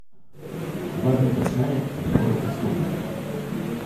Dva dni kasneje je moral odstopiti.